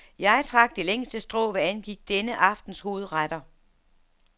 Jeg trak det længste strå, hvad angik denne aftens hovedretter.